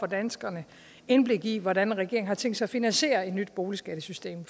danskerne indblik i hvordan regeringen har tænkt sig at finansiere et nyt boligskattesystem